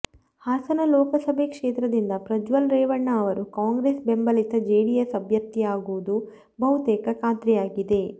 ಹಾಸನ ಲೋಕಸಭೆ ಕ್ಷೇತ್ರದಿಂದ ಪ್ರಜ್ವಲ್ ರೇವಣ್ಣ ಅವರು ಕಾಂಗ್ರೆಸ್ ಬೆಂಬಲಿತ ಜೆಡಿಎಸ್ ಅಭ್ಯರ್ಥಿಯಾಗುವುದು ಬಹುತೇಕ ಖಾತ್ರಿ ಆಗಿದೆ